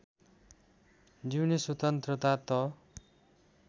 जिउने स्वतन्त्रता त